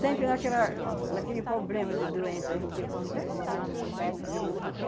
Sempre naquela, naquele problema de doença a gente come, então ele mata.